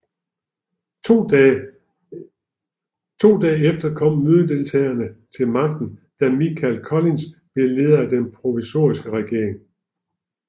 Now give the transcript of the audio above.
To dage efter kom mødedeltagerne til magten da Michael Collins blev leder af den provisoriske regering